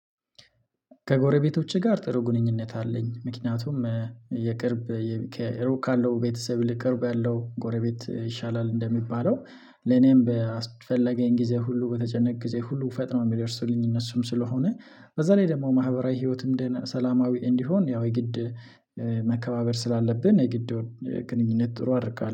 ከጎረቤቶቼ ጋር ጥሩ ግንኙነት አለኝ ምክንያቱም የቅርብ ከሩቅ ካለው ቤተሰብ ይልቅ ቅርብ ያለው ጎረቤት ይሻላል። እንደሚባለው ለኔም በስፈለገኝ ጊዜ ሁሉ በተጨነቅኩት ጊዜ ሁሉ ፈጥኖ የሚደርሱልኝ እነሱም ስለሆነ በዚያ ላይ ደግሞ ማህበራዊ ህይወትም ሰላማዊ እንዲሆን ያው የግድ። መከባበር ስላለብን የግድ ግንኙነት ጥሩ አደርጋለሁ